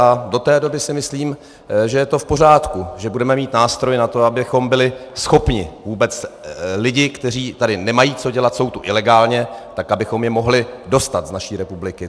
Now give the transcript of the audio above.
A do té doby si myslím, že je to v pořádku, že budeme mít nástroj na to, abychom byli schopni vůbec lidi, kteří tady nemají co dělat, jsou tu ilegálně, tak abychom je mohli dostat z naší republiky.